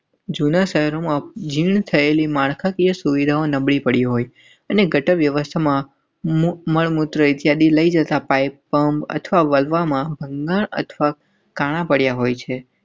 જૂના શહેરોમાં જી થયેલી માળખાકીય સુવિધાઓ નબળી પડી હોય અને ગટર વ્યવસ્થામાં મળમૂત્ર ઇત્યાદિ લઈ જતા પાઈપ પમ્પ અથવા વાલ્વમાં ભંગાણ અથવા કાણાં પડ્યાં હોય છે.